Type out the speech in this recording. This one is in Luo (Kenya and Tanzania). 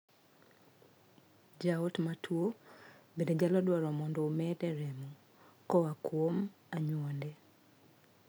Jaot matuo bende nyalo dwaro mondo mede remo koa kuom anyuonde.